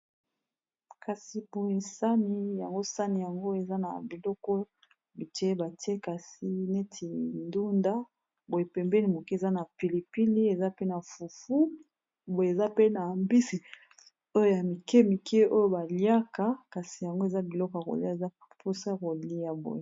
kasi poye sani yango sani yango eza na biloko biteye batie kasi neti ndunda boe pembeni moke eza na pilipili eza pe na fufu boye eza pe na mbisi oyo ya mike mike oyo baliaka kasi yango eza biloko kolia eza mposa kolia boye